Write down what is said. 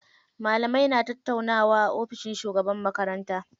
Malamai na tattaunawa a ofishin shugaban makaranta.